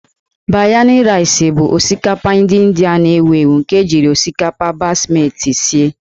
Biryani Rice' bụ osikapa ndị Indịa na-ewu ewu nke ejiri osikapa basmati sie.